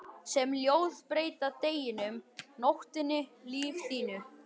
Sum ljóð breyta deginum, nóttinni, lífi þínu.